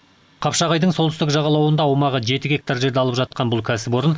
қапшағайдың солтүстік жағалауында аумағы жеті гектар жерді алып жатқан бұл кәсіпоры